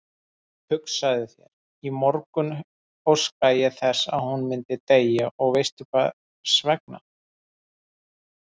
Hugsaðu þér, í morgun óskaði ég þess að hún myndi deyja og veistu hversvegna?